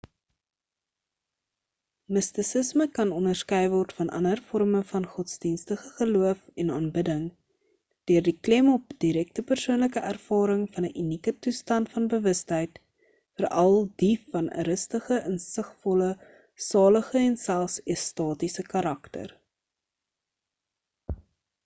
mistisisme kan onderskei word van ander vorme van godsdienstige geloof en aanbidding deur die klem op direkte persoonlike ervaring van 'n unieke toestand van bewustheid veral die van 'n rustige insigvolle salige en selfs ekstatiese karakter